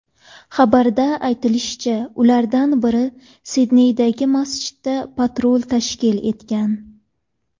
Xabarda aytilishicha, ulardan biri Sidneydagi masjidda patrul tashkil etgan.